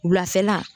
Wulafɛla